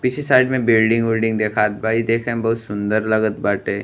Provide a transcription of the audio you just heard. पीछे साइड में बिल्डिंग विल्डींग देखात बा ई देखे में बहुत सुंदर लगत बाटे।